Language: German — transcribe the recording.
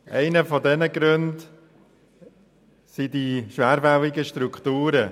Einer der Gründe dafür sind die schwerfälligen Strukturen.